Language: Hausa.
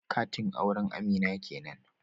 Katin auren Amina kenan